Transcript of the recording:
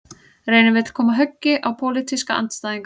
Reynir vill koma höggi á pólitíska andstæðinga